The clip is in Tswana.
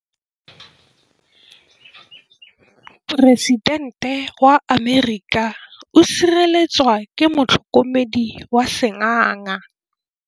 Poresitêntê wa Amerika o sireletswa ke motlhokomedi wa sengaga.